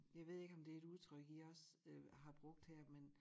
Jeg ved ikke om det et udtryk i også øh har brugt her men